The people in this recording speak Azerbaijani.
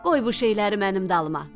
Qoy bu şeyləri mənim dalıma.